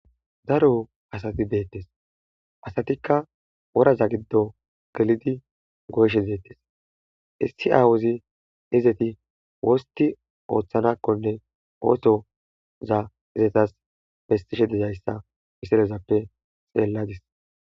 Daro asati betiza asatika woraza gido gelidi goyishe detes issi aawazi gelidi wostidi oothanakone oothoza eta besishe de'yaysa ha misilzappe xeladis